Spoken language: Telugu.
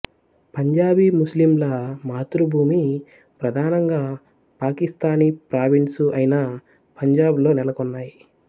పంజాబీ ముస్లింల మాతృభూమి ప్రధానంగా పాకిస్తానీ ప్రావిన్సు అయిన పంజాబ్ లో నెలకొన్నాయి